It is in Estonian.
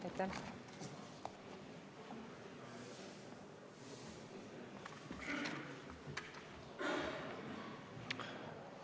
Aitäh!